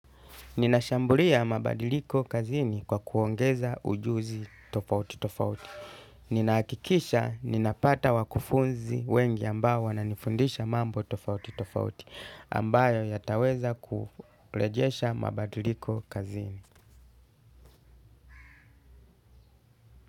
Ninashambulia mabadiliko kazini kwa kuongeza ujuzi tofauti tofauti. Ninahakikisha ninapata wakufunzi wengi ambao wananifundisha mambo tofauti tofauti ambayo yataweza kurejesha mabadiliko kazini.